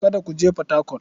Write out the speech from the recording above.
Kada ku je Fatakwal.